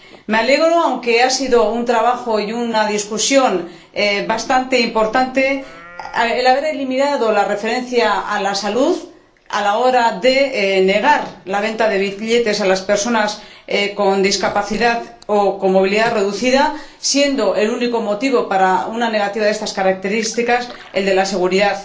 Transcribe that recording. Me alegro, aunque ha habido un trabajo y una discusión bastante importantes, de que se haya eliminado la referencia a la salud a la hora de negar la venta de billetes a las personas con discapacidad o con movilidad reducida, siendo el único motivo, para una negativa de estas características, el de la seguridad.